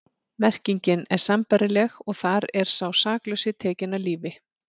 Merkingin er sambærileg og þar er sá saklausi tekinn af lífi.